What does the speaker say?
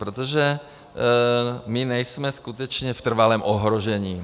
Protože my nejsme skutečně v trvalém ohrožení.